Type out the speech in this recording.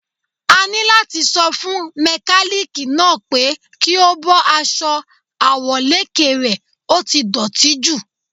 A ní láti sọ fún mẹkálíkì náà pé kí ó bọ́ aṣọ àwọ̀lékè rè, ó ti dọ̀tí jù.